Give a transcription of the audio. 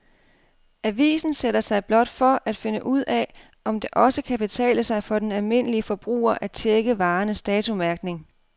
Avisen sætter sig blot for at finde ud af, om det også kan betale sig for den almindelige forbruger at checke varernes datomærkning.